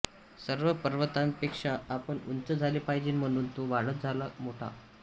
सर्व पर्वतांपेक्षा आपण उंच झाले पाहिजे म्हणून तो वाढत मोठा झाला